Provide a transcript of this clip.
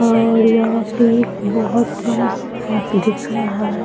और यहां पे एक बहोत बड़ा सांप दिख रहा है।